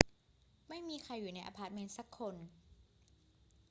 ไม่มีใครอยู่ในอะพาร์ตเมนต์สักคน